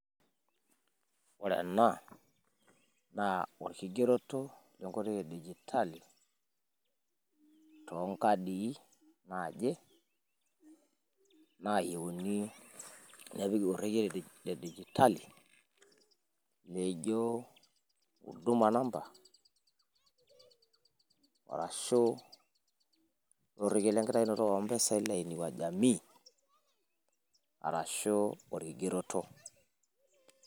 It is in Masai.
Ore ena naa olkigeroto le nkoitoi e digitali too nkaadi naaje naayieuni nepiki orrekie le digitali. Leijo huduma namba arashu orrekie lenkitayunoto oo mpisai le inua jamii, arashu olkigeroto.